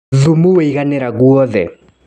Thumu waiganĩra guothe.